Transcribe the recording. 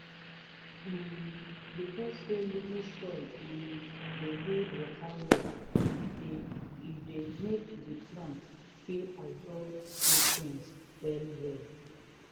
um because say loamy soil um dey hold water well e dey e dey make the plants fit absorb nutrients well well